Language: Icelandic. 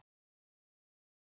Liggur ekki fyrir.